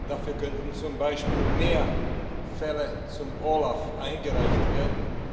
Dafür könnten zum Beispiel mehr Fälle beim OLAF eingereicht werden.